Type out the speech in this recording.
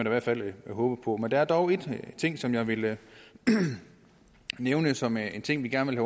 i hvert fald håbe på men der er dog en ting som jeg vil nævne som en ting vi gerne vil